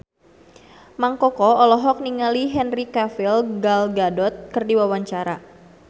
Mang Koko olohok ningali Henry Cavill Gal Gadot keur diwawancara